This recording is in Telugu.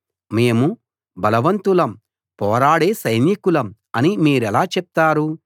మేము బలవంతులం పోరాడే సైనికులం అని మీరెలా చెప్తారు